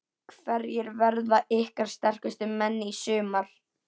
Hverjir verða ykkar sterkustu menn í sumar?